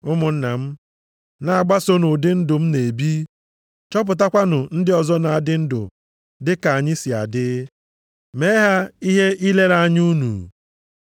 Ụmụnna m, na-agbasonu ụdị ndụ m na-ebi, chọpụtakwanụ ndị ọzọ na-adị ndụ dị ka anyị si adị, mee ha ihe ilere anya unu.